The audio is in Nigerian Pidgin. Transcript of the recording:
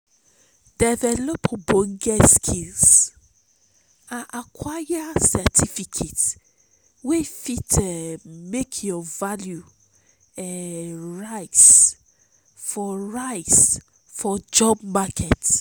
develop ogbonge skills um and acquire certificate wey fit um make your value um rise for rise for job market